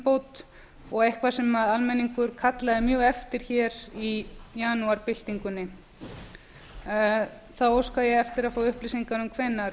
lýðræðisumbót og eitthvað sem almenningur kallaði mjög eftir hér í janúarbyltingunni þá óska ég eftir að fá upplýsingar um hvenær